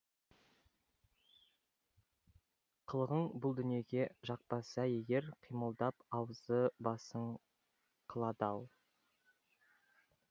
қылығың бұл дүниеде жақпаса егер қимылдап аузы басың қылады ау